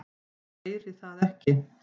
Heyri það ekki.